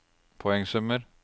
poengsummer